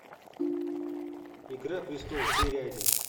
игра престолов серия один